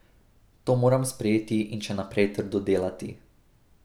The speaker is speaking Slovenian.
To moram sprejeti in še naprej trdo delati.